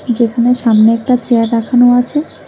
যেখানে সামনে একটা চেয়ার রাখানো আছে।